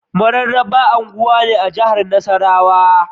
Mararaba unguwa ne a jahar Nasarrawa